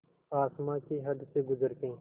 आसमां की हद से गुज़र के